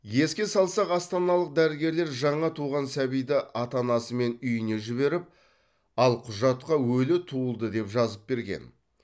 еске салсақ астаналық дәрігерлер жаңа туған сәбиді ата анасымен үйіне жіберіп ал құжатқа өлі туылды деп жазып берген